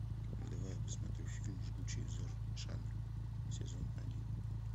давай я посмотрю фильм жгучий взор шаны сезон один